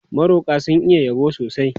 Maroƙa sun iya yabo sosai.